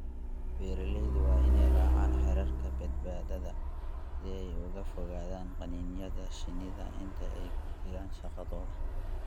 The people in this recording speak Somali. Beeralayda waa inay raacaan xeerarka badbaadada si ay uga fogaadaan qaniinyada shinnida inta ay ku jiraan shaqadooda.